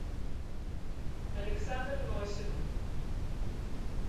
александр носик